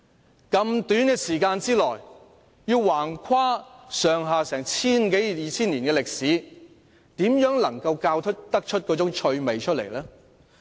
在那麼短的時間內便要橫跨千多二千年的歷史，如何能夠教出趣味？